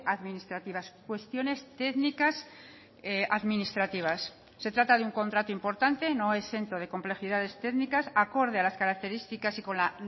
administrativas cuestiones técnicas administrativas se trata de un contrato importante no exento de complejidades técnicas acorde a las características y con la